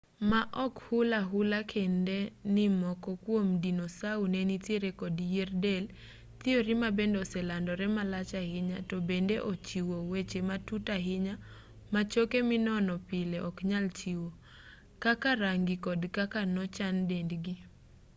ma ok hul ahula kende ni moko kuom dinosau ne nitiere kod yier del thiori ma bende oselandore malach ahinya to bende ochiwo weche matut ahinya ma choke minono pile ok nyal chiwo kaka rangi kod kaka nochan dendgi